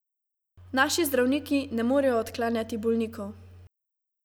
Naši zdravniki ne morejo odklanjati bolnikov.